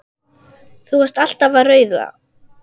Þú varst alltaf að raula.